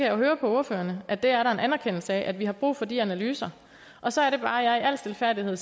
jo høre på ordførerne at der er en anerkendelse af at vi har brug for de analyser og så er det bare jeg i al stilfærdighed